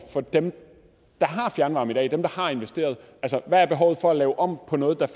for dem der har fjernvarme i dag dem der har investeret hvad er behovet for at lave om på noget der